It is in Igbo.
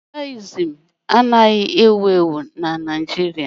Budayịzim anaghị ewu ewu na Naịjirịa